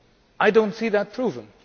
I do not see that proven.